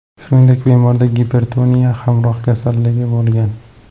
Shuningdek, bemorda gipertoniya hamroh kasalligi bo‘lgan.